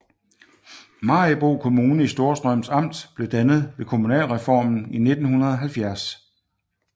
Maribo Kommune i Storstrøms Amt blev dannet ved kommunalreformen i 1970